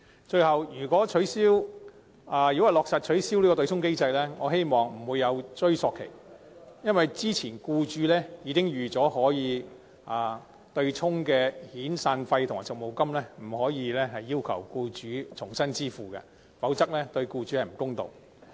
最後，如果落實取消對沖機制，我希望屆時不會有追溯期，因為僱主早已預算遣散費和長期服務金可以對沖，故此不應該要求僱主支付，否則對僱主有欠公道。